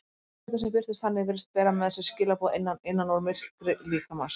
Tungubroddur sem birtist þannig virðist bera með sér skilaboð að innan, innan úr myrkri líkamans.